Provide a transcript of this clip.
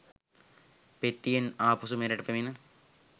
පෙට්ටියෙන් ආපසු මෙරට පැමිණි